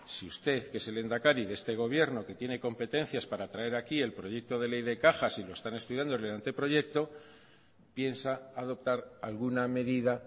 si usted que es el lehendakari de este gobierno que tiene competencias para traer aquí el proyecto de ley de cajas y lo están estudiando en el anteproyecto piensa adoptar alguna medida